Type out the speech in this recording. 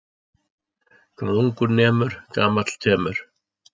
Hvað ungur nemur gamall temur.